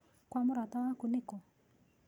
Kwa mũrata waku nĩkũ?